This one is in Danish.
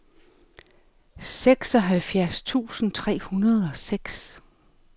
seksoghalvfjerds tusind tre hundrede og seks